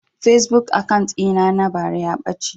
Fasebuk akant ɗin na na bara ya ɓace